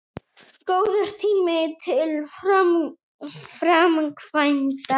Góður tími til framkvæmda